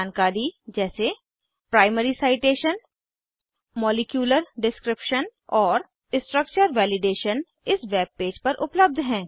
जानकारी जैसे primary citation molecular description और स्ट्रक्चर वैलिडेशन इस वेबपेज पर उपलब्ध हैं